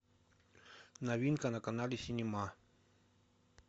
новинка на канале синема